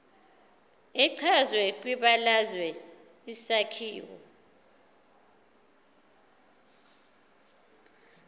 echazwe kwibalazwe isakhiwo